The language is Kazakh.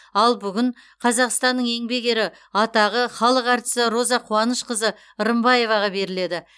ал бүгін қазақстанның еңбек ері атағы халық әртісі роза қуанышқызы рымбаеваға беріледі